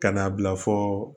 Ka n'a bila fɔɔ